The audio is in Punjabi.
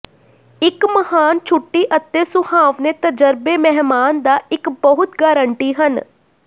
ਇੱਕ ਮਹਾਨ ਛੁੱਟੀ ਅਤੇ ਸੁਹਾਵਣੇ ਤਜਰਬੇ ਮਹਿਮਾਨ ਦਾ ਇੱਕ ਬਹੁਤ ਗਾਰੰਟੀ ਹਨ